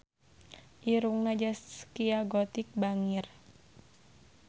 Irungna Zaskia Gotik bangir